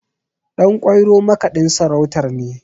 Ɗanƙwairo makaɗin sarautar ne